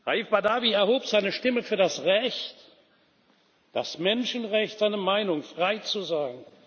Raif Badawi erhob seine Stimme für das Recht, das Menschenrecht, seine Meinung frei zu sagen.